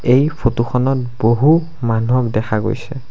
এই ফটো খনত বহু মানুহক দেখা গৈছে।